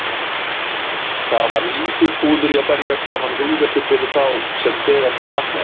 Það var lítið púður í að berja saman hugvekjur fyrir þá sem þegar voru vaknaðir.